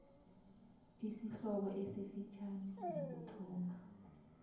isihloko esifitjhani nokuthoma